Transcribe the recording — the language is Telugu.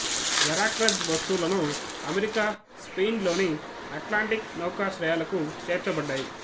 వెరాక్రజ్ వస్తువులను అమెరికా స్పెయిన్ లోని అట్లాంటిక్ నౌకాశ్రయాలకు చేర్చబడ్డాయి